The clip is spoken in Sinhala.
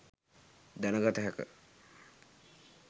දැන ගත හැක.